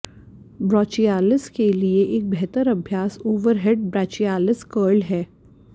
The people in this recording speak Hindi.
ब्राचियालिस के लिए एक बेहतर अभ्यास ओवरहेड ब्रैचियलिस कर्ल है